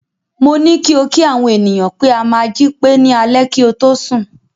Mo ní kí o kí àwọn ènìyàn pé a máa jí pé ní alẹ́ kí o tó sùn.